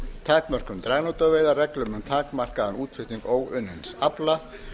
takmörkun dragnótaveiða reglur um takmarkaðan útflutning óunnins afla